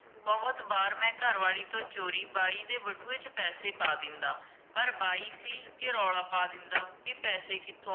ਬਹੁਤ ਵਾਰ ਮੈਂ ਘਰਵਾਲੀ ਤੋਂ ਚੋਰੀ ਬਾਈ ਦੇ ਬਟੂਏ ਚ ਪੈਸੇ ਪਾ ਦਿੰਦਾ ਪਰ ਬਾਈ ਸੀ ਕੇ ਰੌਲਾ ਪਾ ਦਿੰਦਾ ਕੇ ਪੈਸੇ ਕਿਥੋਂ